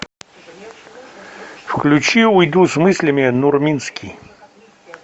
включи уйду с мыслями нурминский